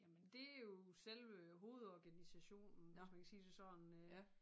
Jamen det jo selve hovedorganisationen hvis man kan sige det sådan øh